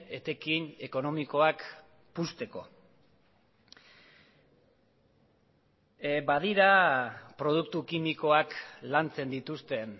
etekin ekonomikoak puzteko badira produktu kimikoak lantzen dituzten